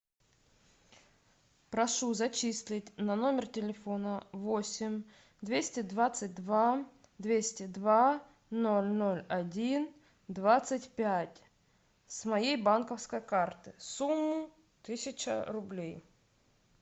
прошу зачислить на номер телефона восемь двести двадцать два двести два ноль ноль один двадцать пять с моей банковской карты сумму тысяча рублей